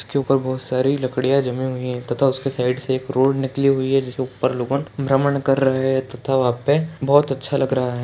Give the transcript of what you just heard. इसके ऊपर बहुत सारी लड़कियां जमी हुई है तथा इसके साइड से रोड निकली हुई है इसके ऊपर लोग हम भ्रमण कर रहे हैं तथा वहां पर बहुत अच्छा लग रहा है।